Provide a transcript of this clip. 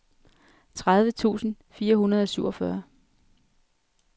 tredive tusind fire hundrede og syvogfyrre